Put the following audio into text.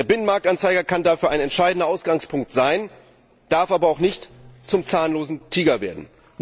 Der Binnenmarktanzeiger kann dafür ein entscheidender Ausgangspunkt sein, darf aber auch nicht zum zahnlosen Tiger werden.